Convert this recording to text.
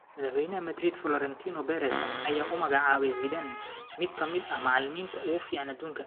Madaxweynaha Madrid, Florentino Perez ayaa u magacaabay Zidane mid ka mid ah macalimiinta ugu fiican adduunka.